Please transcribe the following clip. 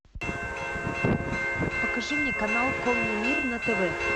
покажи мне канал конный мир на тв